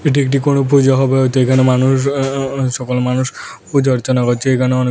এটি একটি কোন পূজা হবে হয়তো এখানে মানুষ এ্য-এ্য-এ্য সকল মানুষ পূজা অর্চনা করছে এখানে অনেক--